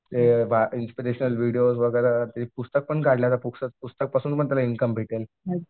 ते inspirational videos वगैरा ते पुस्तक पण काढलेत पुस्तक पासून पण त्याला इनकम भेटेल.